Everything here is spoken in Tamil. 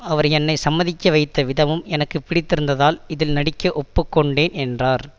அவர் என்னை சம்மதிக்க வைத்த விதமும் எனக்கு பிடித்திருந்ததால் இதில் நடிக்க ஒப்புக்கொண்டேன் என்றார்